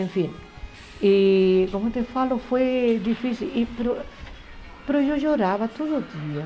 Enfim, e como eu te falo, foi difícil, e mas mas eu chorava todo dia.